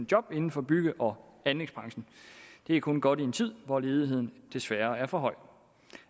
job inden for bygge og anlægsbranchen det er kun godt i en tid hvor ledigheden desværre er for høj